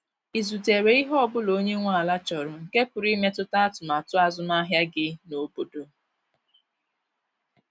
Ị zutere ihe ọbụla onye nwe ala chọrọ nke pụrụ imetụta atụmatụ azụmahịa gị n’obodo?